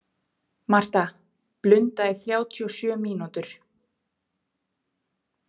Marta, blunda í þrjátíu og sjö mínútur.